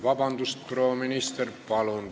Vabandust, proua minister!